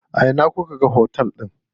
A ina kuka ga otel din?